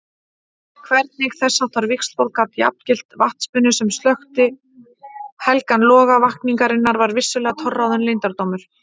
Hvernig þessháttar víxlspor gat jafngilt vatnsbunu sem slökkti helgan loga vakningarinnar var vissulega torráðinn leyndardómur.